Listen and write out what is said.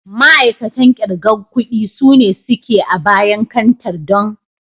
Ma'aikatan kirgan ƙudi sune suke a bayan canter don